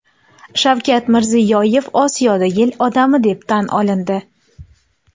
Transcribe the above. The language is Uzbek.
Shavkat Mirziyoyev Osiyoda yil odami deb tan olindi.